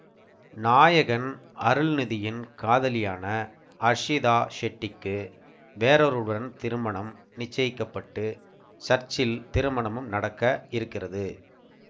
நாயகன் அருள்நிதியின் காதலியான அர்ஷிதா ஷெட்டிக்கு வேறொருவருடன் திருமண நிச்சயிக்கப்பட்டு சர்ச்சில் திருமணமும் நடக்க இருக்கிறது